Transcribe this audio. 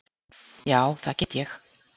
Já, það get ég.